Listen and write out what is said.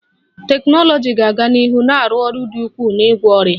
Teknụzụ ga-aga n'ihu na-arụ ọrụ dị ukwuu n'ịgwọ ọrịa